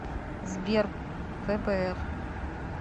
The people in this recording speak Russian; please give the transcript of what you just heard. сбер фбр